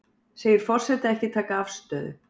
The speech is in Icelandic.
Segir forseta ekki taka afstöðu